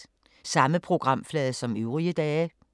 Samme programflade som øvrige dage